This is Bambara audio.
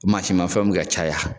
Masimanfɛnw be ka caya